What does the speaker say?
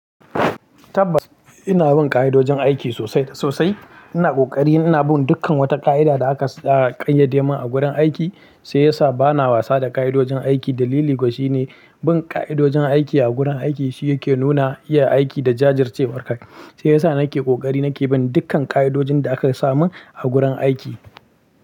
Tabbas ina bin ƙa'idojin aiki sosai sosai. Ina ƙoƙari, ina bin dukkan wata ƙa'ida da aka ƙayyade min a gurin aiki, shiyasa bana wasa da ƙa'idojin aiki. Dalili ko shi ne bin ƙa'idojin aiki a gurin aiki shi yake nuna iya aiki da jajircewar aiki. Shiyasa nake ƙoƙari nake bin dukkan ƙa'idojin da aka samun, a gurin aiki.